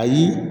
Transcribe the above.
Ayi